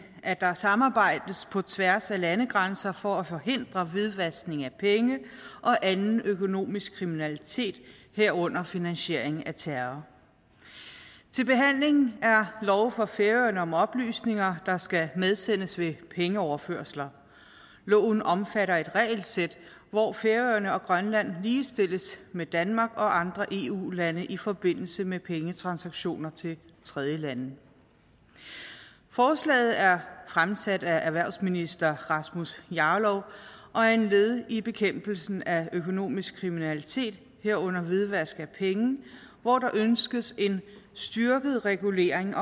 at der samarbejdes på tværs af landegrænser for at forhindre hvidvaskning af penge og anden økonomisk kriminalitet herunder finansiering af terror til behandling er lov for færøerne om oplysninger der skal medsendes ved pengeoverførsler loven omfatter et regelsæt hvor færøerne og grønland ligestilles med danmark og andre eu lande i forbindelse med pengetransaktioner til tredjelande forslaget er fremsat af erhvervsministeren og er et led i bekæmpelsen af økonomisk kriminalitet herunder hvidvaskning af penge hvor der ønskes en styrket regulering